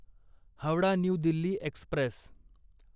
Howrah new Delhi Express